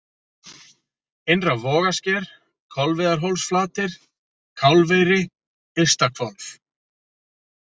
Innra-Vogasker, Kolviðarhólsflatir, Kálfeyri, Ystahvolf